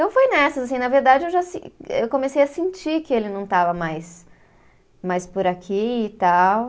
Então foi nessas, assim, na verdade eu já se, eu comecei a sentir que ele não estava mais, mais por aqui e tal.